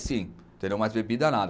sim, mas bebida nada.